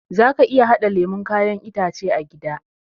Zaka iya haɗa lemon kayan itace a gida